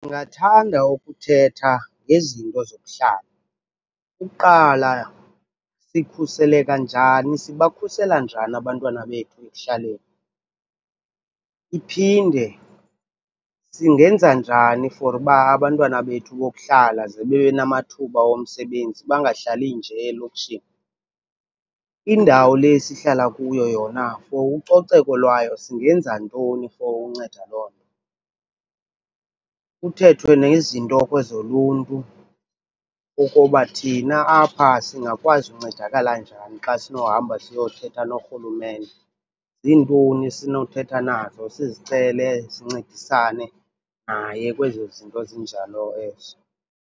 Ndingathanda ukuthetha ngezinto zokuhlala. Ukuqala, sikhuseleka njani, sibakhusela njani abantwana bethu ekuhlaleni? Iphinde, singenza njani for uba abantwana bethu bokuhlala ze bebenamathuba womsebenzi bangahlali nje elokishini? Indawo le sihlala kuyo yona for ucoceko lwayo singenza ntoni for unceda loo nto? Kuthethwe nezinto ke zoluntu, ukuba thina apha singakwazi uncedakala njani xa sinohamba siyothetha norhulumente, zintoni esinothetha nazo sizicele sincedisane naye kwezo zinto zinjalo ezo.